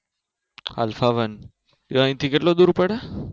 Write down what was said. Alpha one A અહીંથી કેટલું દુર પડે?